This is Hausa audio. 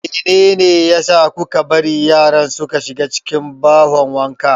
Meyne ne a sa kuka bari yaran suka shiga cikin bahon wanka?